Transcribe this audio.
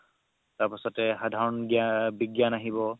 তাৰ পাছতে সাধৰণ গ্যান বিগ্যান আহিব